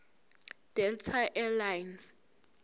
delta air lines